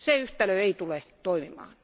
Se yhtälö ei tule toimimaan.